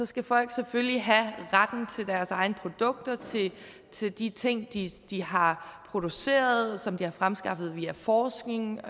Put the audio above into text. skal folk selvfølgelig have retten til deres egne produkter til de ting de de har produceret som de har fremskaffet via forskning